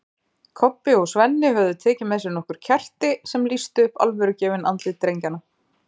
Kobbi og Svenni höfðu tekið með sér nokkur kerti sem lýstu upp alvörugefin andlit drengjanna.